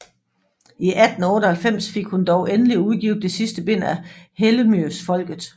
I 1898 fik hun dog endelig udgivet det sidste bind af Hellemyrsfolket